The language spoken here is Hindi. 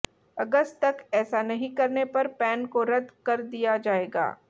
अगस्त तक ऐसा नहीं करने पर पैन को रद कर दिया जाएगा